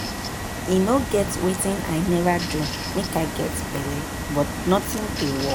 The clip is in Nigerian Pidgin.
E no get wetin I never do make I get belle, but nothing dey work